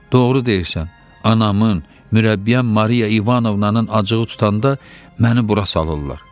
Doğru deyirsən, anamın mürəbbiyəm Mariya İvanovnanın acığı tutanda məni bura salırlar.